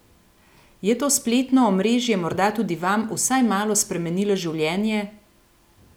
Je to spletno omrežje morda tudi vam vsaj malo spremenilo življenje?